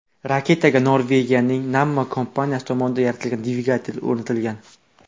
Raketaga Norvegiyaning Nammo kompaniyasi tomonidan yaratilgan dvigatel o‘rnatilgan.